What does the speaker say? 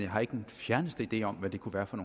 har ikke den fjerneste idé om hvad det kunne være for